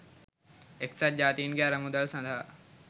එක්සත් ජාතීන්ගේ අරමුදල් සඳහා